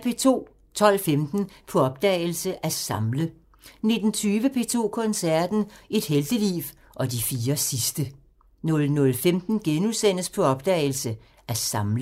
12:15: På opdagelse – At samle 19:20: P2 Koncerten – Et helteliv og de fire sidste 00:15: På opdagelse – At samle *